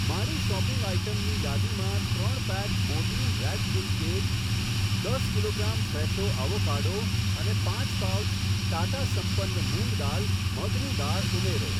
મારી શોપિંગ આઇટમની યાદીમાં ત્રણ pack Mortein rat kill cake, દસ કિલોગ્રામ ફ્રેશો અવોકાડો અને પાંચ પાઉચ ટાટા સંપન્ન મૂંગ દાલ, મગની દાળ ઉમેરો.